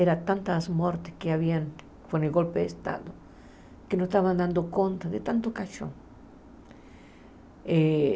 Eram tantas mortes que haviam com o golpe de Estado que não estavam dando conta de tanto caixão. Eh